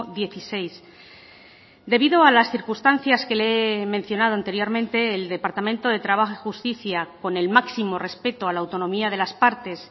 dieciséis debido a las circunstancias que le he mencionado anteriormente el departamento de trabajo y justicia con el máximo respeto a la autonomía de las partes